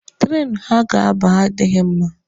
Treenụ ha ga-aba adịghị mma.